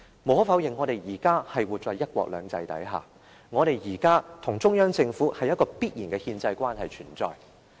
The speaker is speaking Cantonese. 無可否認，我們現時生活在"一國兩制"之下，我們現時與中央政府之間存有一種必然的憲制關係。